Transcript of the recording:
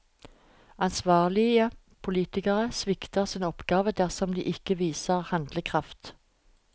Ansvarlige politikere svikter sin oppgave dersom de ikke viser handlekraft.